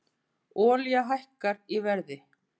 Olían hækkar í verði